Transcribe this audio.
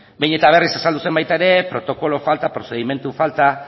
behin eta berriz azaldu zen baita ere protokolo falta prozedimentu falta